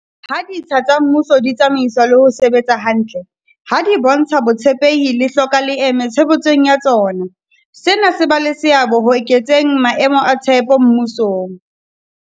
Ha ditsha tsa mmuso di tsamaiswa le ho sebetsa hantle, ha di bontsha botshepehi le hloka leeme tshebetsong ya tsona, sena se ba le seabo ho eketseng maemo a tshepo mmusong.